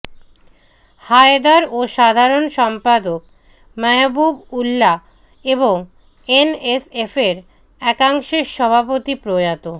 হায়দার ও সাধারণ সম্পাদক মাহবুব উল্লাহ এবং এনএসএফের একাংশের সভাপতি প্রয়াত